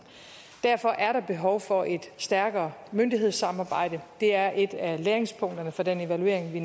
derfor er der behov for et stærkere myndighedssamarbejde det er et af læringspunkterne fra den evaluering vi